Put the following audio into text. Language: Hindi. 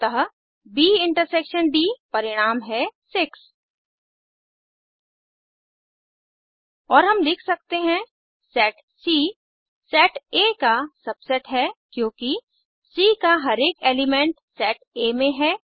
अतः ब इंटरसेक्शन डी परिणाम है 6 और हम लिख सकते हैं सेट सी सेट आ का सबसेट है क्योंकि सी का हर एक एलिमेंट सेट आ में है